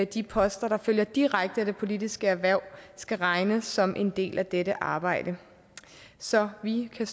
de poster der følger direkte af det politiske erhverv skal regnes som en del af dette arbejde så vi kan